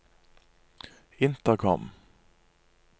intercom